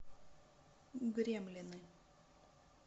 гремлины